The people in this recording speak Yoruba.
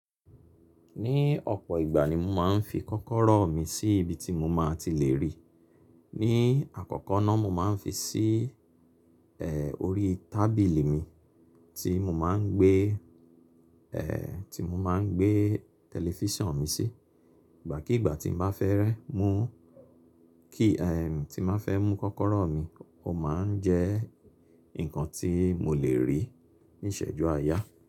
Ní ọ̀pọ̀ ìgbà ni mo máa ń fi kọ́kọ́rọ́ mi sí ibi tí mo máa ti lè rí. Ní àkọ́kọ́ náà mo máa ń fi sí, ẹ́ẹ́, orí tábìlì mi tí mo máa ń gbé, ẹ́ẹ́, tí mo máa ń gbé tẹlifíṣàn mi sí. Ìgbà kí ìgbà tí n bá fẹ́ rẹ́ mú kí, ẹ́ẹ́, tí n máa fẹ́ mú kọ́kọ́rọ́ mi, ó máa ń jẹ́ nǹkan tí mo lè rí níṣẹ̀jú àáyá.